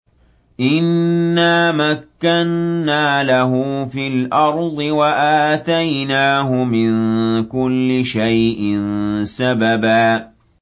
إِنَّا مَكَّنَّا لَهُ فِي الْأَرْضِ وَآتَيْنَاهُ مِن كُلِّ شَيْءٍ سَبَبًا